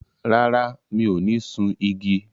Rárá, mi ò ní sun igi.